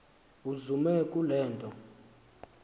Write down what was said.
uzume kule nto